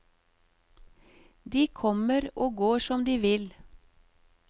De kommer og går som de vil.